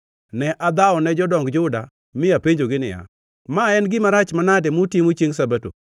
Ne adhawone jodong Juda mi apenjogi niya, “Ma en gima rach manade mutimo chiengʼ Sabato?